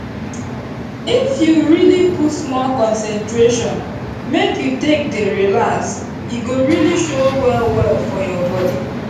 if you really put small concentration make you take dey relax e go really show well well for your body